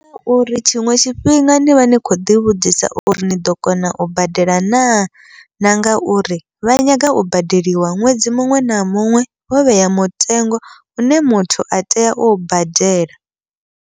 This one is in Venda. Uri tshiṅwe tshifhinga nivha ni khou ḓi vhudzisa uri niḓo kona u badela naa, na nga uri vha nyaga u badeliwa ṅwedzi muṅwe na muṅwe wo vhea mutengo une muthu a tea u badela.